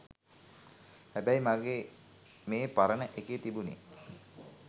හැබෑයි මගේ මේපරණ ඒකේ තිබුනේ